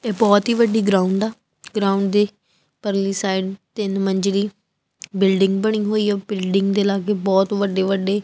ਤੇ ਬਹੁਤ ਹੀ ਵੱਡੀ ਗਰਾਊਂਡ ਆ ਗਰਾਊਂਡ ਦੇ ਪਰਲੀ ਸਾਈਡ ਤਿੰਨ ਮੰਜਲੀ ਬਿਲਡਿੰਗ ਬਣੀ ਹੋਈ ਆ ਬਿਲਡਿੰਗ ਦੇ ਲਾਗੇ ਬਹੁਤ ਵੱਡੇ ਵੱਡੇ।